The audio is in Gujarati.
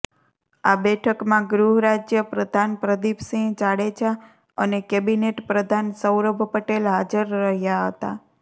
આ બેઠકમાં ગૃહરાજ્ય પ્રધાન પ્રદીપસિંહ જાડેજા અને કેબિનેટ પ્રધાન સૌરભ પટેલ હાજર રહ્યાં હતા